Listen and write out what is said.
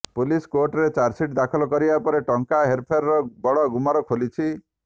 police କୋର୍ଟରେ charge sheet ଦାଖଲ କରିବା ପରେ ଟଙ୍କା ହେରଫେରର ବଡ଼ ଗୁମର ଖୋଲିଛି